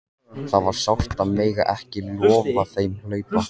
Það var sárt að mega ekki lofa þeim að hlaupa!